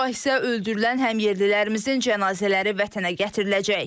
Sabah isə öldürülən həmyerlilərimizin cənazələri vətənə gətiriləcək.